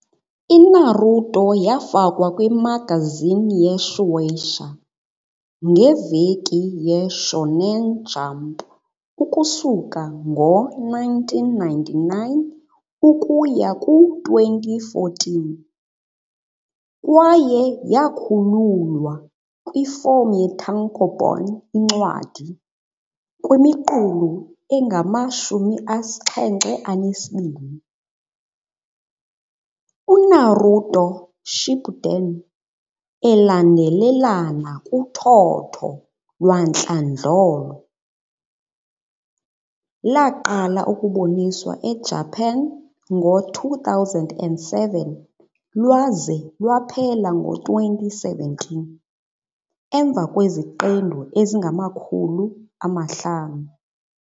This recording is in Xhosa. I-Naruto yafakwa kwi-magazine ye-Shueisha, ngeveki Shōnen Jump ukusuka ngo-1999 ukuya ku-2014, kwaye yakhululwa kwifom ye-tankōbon, incwadi, kwimiqulu engama-72. UNaruto- Shippuden, elandelelana kuthotho lwantlandlolo, laqala ukuboniswa eJapan ngo-2007, lwaze lwaphela ngo-2017, emva kweziqendu ezingama-500.